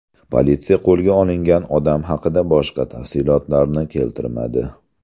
Politsiya qo‘lga olingan odam haqida boshqa tafsilotlarni keltirmadi.